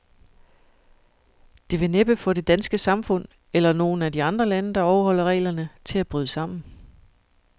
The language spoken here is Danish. Det vil næppe få det danske samfund, eller nogen af de andre lande, der overholder reglerne, til at bryde sammen.